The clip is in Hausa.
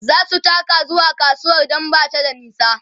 zasu taka zuwa kasuwar Dan Bata da nisa